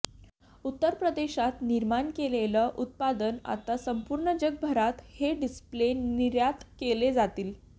उत्तर प्रदेशात निर्माण केलेलं उत्पादन आता संपूर्ण जगभरात हे डिस्प्ले निर्यात केले जातील